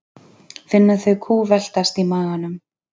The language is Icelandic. Finna þau kútveltast í maganum.